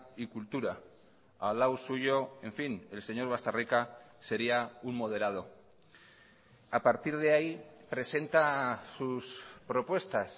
y cultura al lado suyo en fin el señor bastarrika sería un moderado a partir de ahí presenta sus propuestas